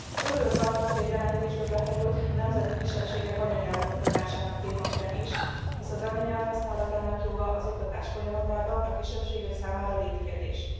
Örülök annak, hogy a jelentésbe bekerült a nemzeti kisebbségek anyanyelvű oktatásának témaköre is, hisz az anyanyelv használatának joga az oktatás folyamatában a kisebbségek számára létkérdés.